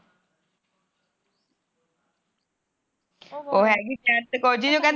ਉਹ ਹੈਗੀ ਬਿਆਂਤ ਕੋਰ ਜਿਹਨੂੰ